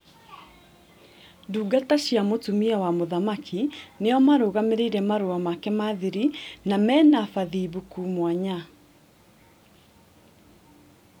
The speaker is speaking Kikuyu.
Ndungata cia mũtumia wa mũthamaki nĩo marũgamĩrĩire marũa make ma thiri na mena bathimbuku mwanya